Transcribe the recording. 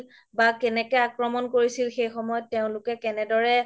বা কেনেকে আক্ৰমণ কৰিছিল সেই সময় তেওলোকে কেনেদৰে